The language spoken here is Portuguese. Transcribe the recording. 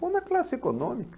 Vou na classe econômica.